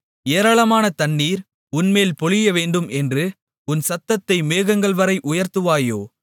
ஏராளமான தண்ணீர் உன்மேல் பொழியவேண்டும் என்று உன் சத்தத்தை மேகங்கள்வரை உயர்த்துவாயோ